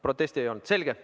Protesti ei olnud?